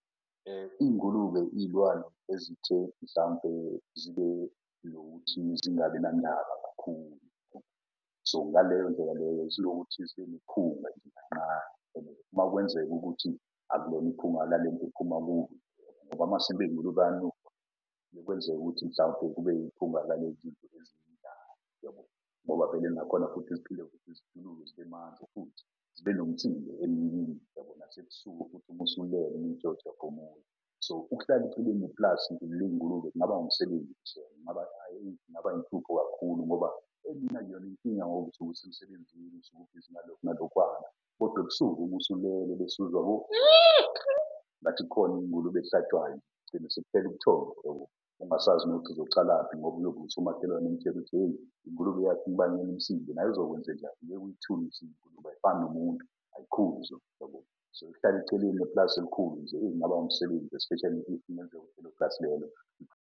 Iy'ngulube iy'lwane ezithe mhlampe zibe nokuthi zingabi nandaba kakhulu, so ngaleyo ndlela leyo zinokuthi zibe niphunga nje kanqane . Uma kwenzeka ukuthi akulona iphuma lalento ephuma ngoba amasimba ey'ngulube ayanuka. Kuye kwenzeke ukuthi mhlawumpe kube iphunga . Ngoba vele nakhona futhi ziphinde ukuthi zibe manzi futhi zibe nomsindo emini, uyabona? Nasebusuku futhi umusulele uy'tshwela ukuthi uyaphumula . So, ukuhlala eceleni neplasi lezingulube kungaba umsebenzi . Kakhulu ngoba emini akuyona inkinga ngoba usuke usemsebenzini. Ubhizi ngalokhu nalokhwana kodwa ebusuku ubusulele besuzwa . Ngathi kukhona ingulube ehlatshwayo, kugcine sekuphele ubuthongo ungasazi nokuthi uzocalaphi ngoba . Umakhelwane ukuthi hheyi , naye uzokwenzenjani ingulube. Ayifani nomuntu ayikhuzwa, yabo? So, eceleni neplasi elikhulu nje eyi kunga umsebenzi, especially if plasi lelo .